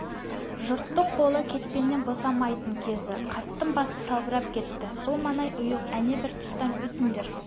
жұрттың қолы кетпеннен босамайтын кезі қарттың басы салбырап кетті бұл маңай ұйық әне бір тұстан өтіңдер